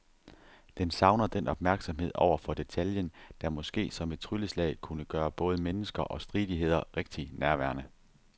Den savner den opmærksomhed over for detaljen, der måske som et trylleslag kunne gøre både mennesker og stridigheder rigtig nærværende.